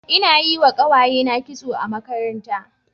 Ina yi wa kawayena kitso a makaranta.